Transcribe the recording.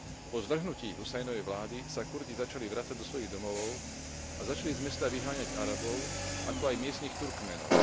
Po zvrhnutí Husajnovej vlády sa Kurdi začali vracať do svojich domovov a začali z mesta vyháňať Arabov, ako aj miestnych Turkménov.